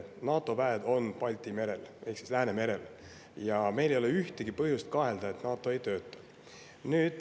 NATO väed on Balti merel ehk Läänemerel ja meil ei ole mingit põhjust kahelda, et NATO ei tööta.